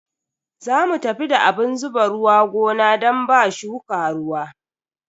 Za mu tafi da abun zuba ruwa gona don ba shuka ruwa.